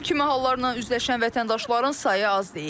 Bu kimi hallarla üzləşən vətəndaşların sayı az deyil.